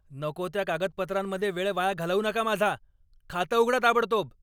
नको त्या कागदपत्रांमध्ये वेळ वाया घालवू नका माझा. खातं उघडा ताबडतोब!